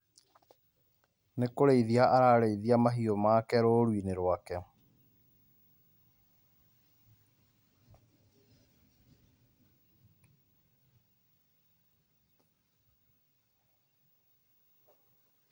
Nĩ kũrĩithia ararĩithia mahĩu make rũrũinĩ rwake.